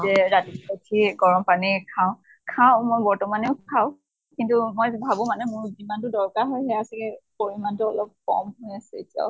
যে ৰাতিপুৱা ওঠিয়ে গৰম পানী খাওঁ, খাওঁ মই বৰ্তমানেও খাওঁ। কিন্তু মই ভাবো মানে মই যিমান দূৰ দৰকাৰ হয় সেয়া চাগে পৰিমানতো অলপ কম হৈ আছে এতিয়াও।